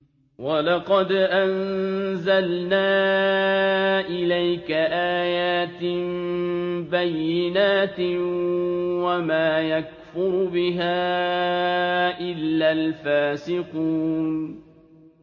وَلَقَدْ أَنزَلْنَا إِلَيْكَ آيَاتٍ بَيِّنَاتٍ ۖ وَمَا يَكْفُرُ بِهَا إِلَّا الْفَاسِقُونَ